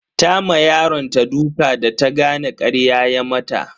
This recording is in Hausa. Ta ma yaronta duka da ta gane karya ya mata.